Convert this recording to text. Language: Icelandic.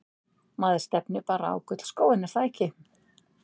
Maður stefnir bara á gullskóinn er það ekki?